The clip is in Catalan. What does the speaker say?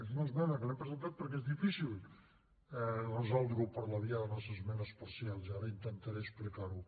és una esmena que l’hem presentat perquè és difícil resoldre ho per la via de les esmenes parcials i ara intentaré explicar ho